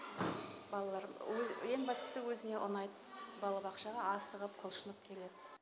балалар ең бастысы өзіне ұнайд балабақшаға асығып құлшынып келед